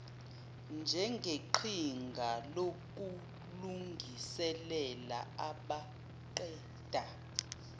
njengeqhinga lokulungiselela abaqeda